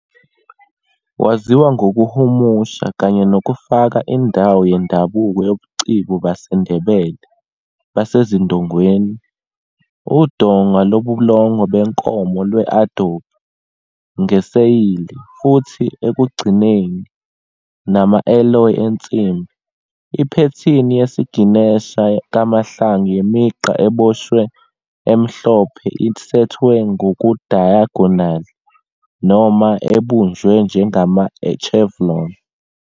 Waziwa ngokuhumusha kanye nokufaka indawo yendabuko yobuciko baseNdebele basezindongeni, udonga lobulongwe benkomo lwe-adobe, ngeseyili, futhi ekugcineni, nama-alloys ensimbi. Iphethini yesiginesha kaMahlangu yemigqa eboshwe emhlophe isethwe ngokudayagonali noma ebunjwe njengama-chevron.